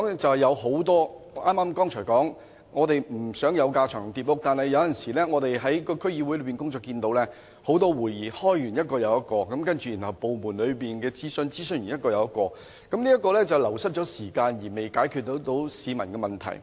正如我剛才所說，我們不想有架床疊屋的情況，但我們現時看到區議會經常召開一個又一個的會議，然後在部門內進行一次又一次的諮詢，這會令時間流失，卻又未能解決市民的問題。